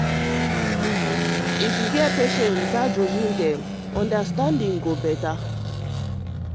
if you hear patients without judging dem understanding go dey better.